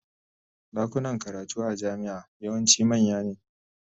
Dakunan karatu a jami'a yawanci manya ne.